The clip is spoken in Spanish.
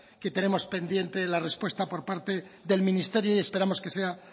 que tenemos pendiente la respuesta por parte del ministerio y esperemos que sea